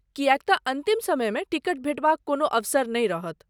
किएक तँ अन्तिम समयमे टिकट भेटबाक कोनो अवसर नहि रहत।